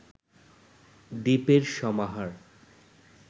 দ্বীপের সমাহার